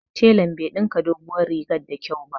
Telan bai ɗinka doguwar rigar da kyau ba